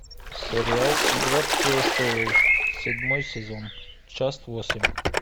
сериал игра престолов седьмой сезон часть восемь